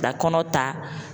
Ka kɔnɔ ta